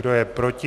Kdo je proti?